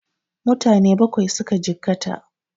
Mutane Bakwai suka jikkata